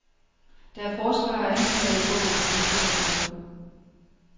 Der er forsvar og anklager i bogen, naturligt nok.